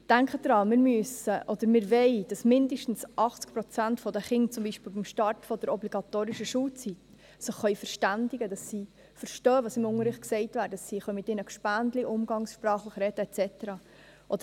Denken Sie daran, wir müssen oder wir wollen, dass sich mindestens 80 Prozent der Kinder beim Start der obligatorischen Schulzeit verständigen können, dass sie verstehen, was im Unterricht gesagt wird, dass sie mit ihren Kameradinnen und Kameraden umgangssprachlich sprechen können und so weiter.